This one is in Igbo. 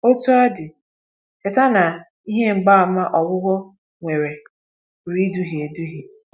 Otú ọ dị, cheta na ihe mgbaàmà ogwụgwọ nwere pụrụ iduhie eduhie.